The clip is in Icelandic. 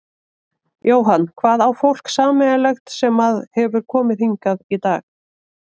Jóhann: Hvað á fólk sameiginlegt sem að hefur komið hingað í dag?